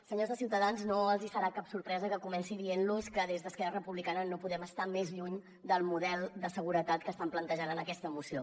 senyors de ciutadans no els hi serà cap sorpresa que comenci dient los que des d’esquerra republicana no podem estar més lluny del model de seguretat que estan plantejant en aquesta moció